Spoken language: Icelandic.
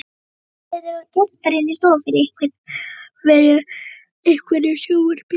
Bylgja situr og geispar inni í stofu yfir einhverju sjónvarpi.